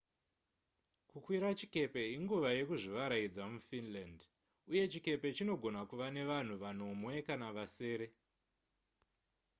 kukwira chikepe inguva yekuzvivarayidza mufinland uye chikepe chinogona kuva nevanhu vanomwe kana vasere